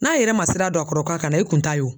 N'a yɛrɛ ma sira don a kɔrɔ ka kana i kun ta ye o.